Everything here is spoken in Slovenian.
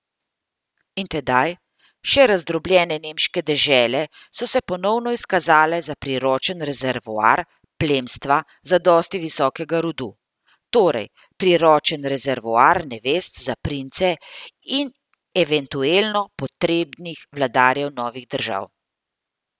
In tedaj še razdrobljene nemške dežele so se ponovno izkazale za priročen rezervoar plemstva zadosti visokega rodu, torej priročen rezervoar nevest za prince in eventuelno potrebnih vladarjev novih držav.